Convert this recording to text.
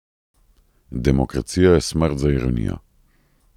Demokracija je smrt za ironijo.